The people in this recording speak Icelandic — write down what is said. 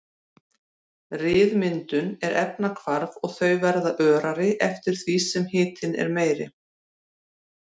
Ryðmyndun er efnahvarf og þau verða örari eftir því sem hitinn er meiri.